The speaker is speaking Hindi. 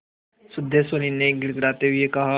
सिद्धेश्वरी ने गिड़गिड़ाते हुए कहा